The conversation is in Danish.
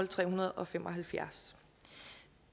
tre hundrede og fem og halvfjerds